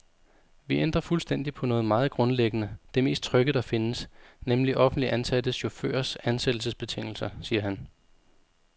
Vi ændrer fuldstændig på noget meget grundlæggende, det mest trygge, der findes, nemlig offentligt ansatte chaufførers ansættelsesbetingelser, siger han.